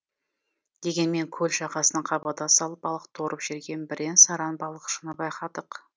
дегенмен көл жағасынан қабада салып балық торып жүрген бірен саран балықшыны байқадық